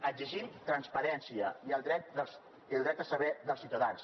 exigim transparència i el dret a saber dels ciutadans